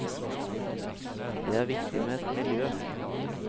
Det er viktig med et miljø.